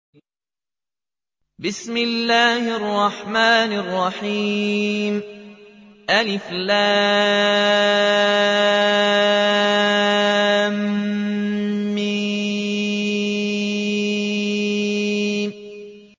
الم